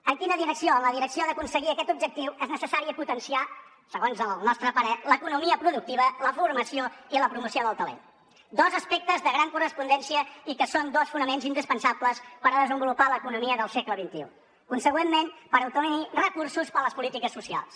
en quina direcció en la direcció d’aconseguir aquest objectiu és necessari potenciar segons el nostre parer l’economia productiva la formació i la promoció del talent dos aspectes de gran correspondència i que són dos fonaments indispensables per desenvolupar l’economia del segle xxi consegüentment per obtenir recursos per a les polítiques socials